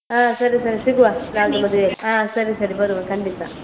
ಆ ಸರಿ ಸರಿ ಸಿಗುವ ನಾಡಿದ್ದು ಮದುವೆಗೆ ಆ ಸರಿ ಸರಿ ಬರುವ ಖಂಡಿತ.